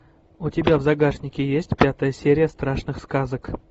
у тебя в загашнике есть пятая серия страшных сказок